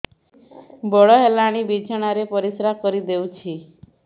ବଡ଼ ହେଲାଣି ବିଛଣା ରେ ପରିସ୍ରା କରିଦେଉଛି